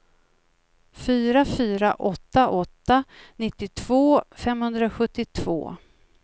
fyra fyra åtta åtta nittiotvå femhundrasjuttiotvå